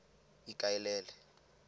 ikaelele